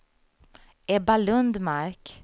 Ebba Lundmark